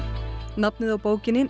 nafnið á bókinni